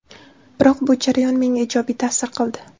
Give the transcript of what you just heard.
Biroq bu jarayon menga ijobiy ta’sir qildi.